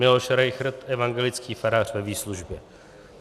Miloš Rejchrt, evangelický farář ve výslužbě.